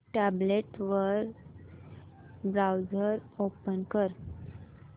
tablet वर browser open कर